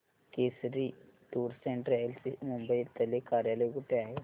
Kesari tours and travels चे मुंबई तले कार्यालय कुठे आहे